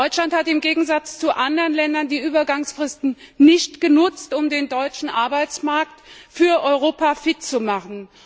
Deutschland hat im Gegensatz zu anderen Ländern die Übergangsfristen nicht genutzt, um den deutschen Arbeitsmarkt für Europa fit zu machen.